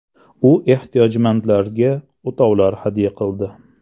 U ehtiyojmandlarga o‘tovlar hadya qildi.